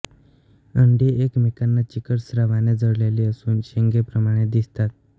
अंडी एकमेकाला चिकट स्रावाने जोडलेली असून शेंगेप्रमाणे दिसतात